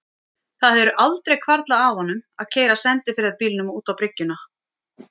Það hefur aldrei hvarflað að honum að keyra á sendiferðabílnum út á bryggjuna.